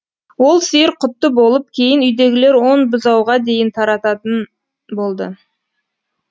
ол сиыр құтты болып кейін үйдегілер он бұзауға дейін тартатын болды